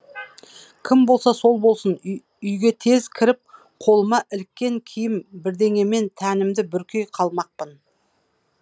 кім болса сол болсын үйге тез кіріп қолыма іліккен киім бірдеңемен тәнімді бүркей қалмақпын